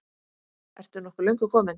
Ertu nokkuð löngu kominn?